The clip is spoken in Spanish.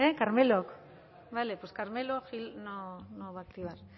carmelok bale pues carmelo gil no va a activar